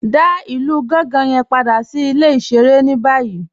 Dá ilù Gànga yẹn padà sí ilẹ̀-ìṣẹ̀rẹ̀ ni bayìí